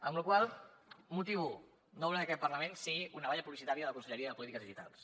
amb la qual cosa un motiu no volem que aquest parlament sigui una tanca publicitària de la conselleria de polítiques digitals